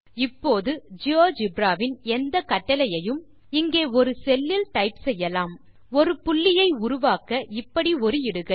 இப்போது ஜியோஜெப்ரா வின் எந்த கட்டளையையும் இங்கே ஒரு செல் லில் டைப் செய்யலாம் ஒரு புள்ளியை உருவாக்க இப்படி ஒரு இடுகை